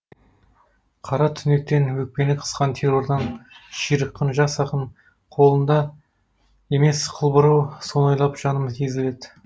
қара түнектен өкпені қысқан террордан ширыққан жас ақын қолыңда емес қыл бұрау соны ойлап жаным езілед